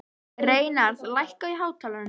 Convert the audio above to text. Reynarð, lækkaðu í hátalaranum.